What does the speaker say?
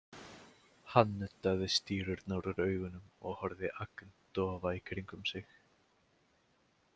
Hann nuddaði stírurnar úr augunum og horfði agndofa í kringum sig.